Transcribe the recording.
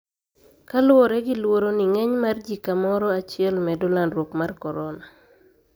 Kaluwore gi luoro ni ng`eny mar ji kamoro achiel medo landruok mar Korona.